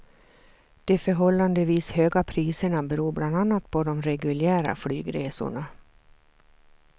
De förhållandevis höga priserna beror bland annat på de reguljära flygresorna.